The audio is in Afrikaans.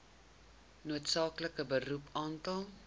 noodsaaklike beroep aantal